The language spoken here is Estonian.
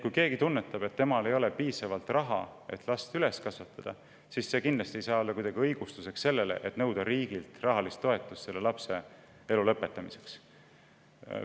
Kui keegi tunnetab, et temal ei ole piisavalt raha, et laps üles kasvatada, siis see kindlasti ei saa olla õigustus, et nõuda riigilt rahalist toetust selle lapse elu lõpetamiseks.